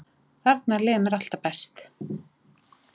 Þarna líður mér alltaf best.